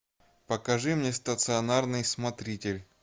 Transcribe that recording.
покажи мне стационарный смотритель